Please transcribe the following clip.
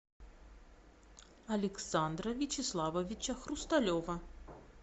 александра вячеславовича хрусталева